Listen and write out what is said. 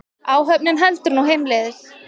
Áhöfnin heldur nú heimleiðis